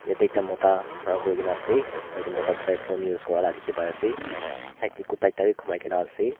Doita mota khara kuri kena ase aro yate mota toh tai phone use kora la dekhi pai ase side te kuta ekta bi gumai kena ase.